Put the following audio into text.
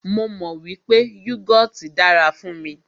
Mó mọ wípé yúgọọ́ti dára fún mí.